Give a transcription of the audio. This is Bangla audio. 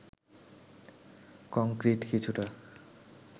কংক্রিট কিছুটা